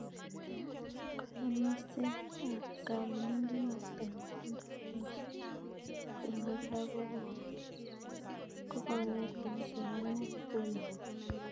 Kayomisenny ab kabelindet noto netindo kenyisiek 26 kogogonget kenyisiek aengu kotomo kobek.